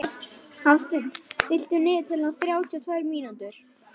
Hafsteinn, stilltu niðurteljara á þrjátíu og tvær mínútur.